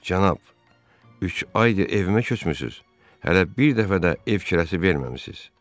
Cənab, üç aydır evimə köçmüsüz, hələ bir dəfə də ev kirəsi verməmisiz.